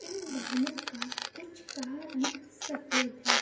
इन वाहनों का कुछ का रंग सफ़ेद है।